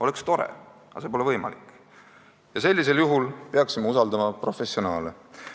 Oleks tore, aga see pole võimalik ja sellisel juhul peaksime usaldama professionaale.